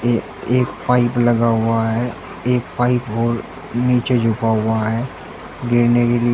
एक पाइप लगा हुआ है एक पाइप और नीचे झुका हुआ है गिरने के लिए।